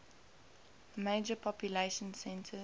major population centers